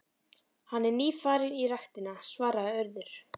Hann er nýfarinn í ræktina- svaraði Urður.